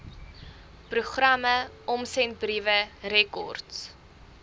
programme omsendbriewe rekords